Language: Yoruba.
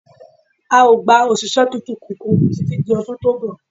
A ò gba òṣìṣẹ́ tuntun kankan títí di ọdún tó ń bọ̀